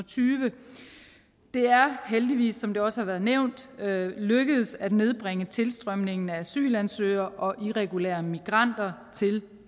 tyve det er heldigvis som det også har været nævnt lykkedes at nedbringe tilstrømningen af asylansøgere og irregulære migranter til